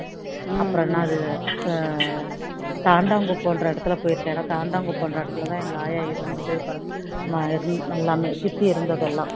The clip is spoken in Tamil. அப்பறோம் என்ன அது தாண்டாங்குப்பம் என்ற இடத்துல போயிருக்கேன் தாண்டாங்குப்பம் என்ற இடத்துல தான் எங்க ஆயா இருந்தது